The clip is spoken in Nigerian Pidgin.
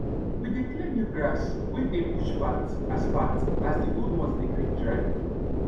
we de clear new grass wey dey bush path as path as d old ones dey quick dry